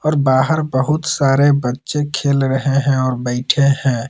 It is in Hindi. और बाहर बहुत सारे बच्चे खेल रहे हैं और बैठे हैं।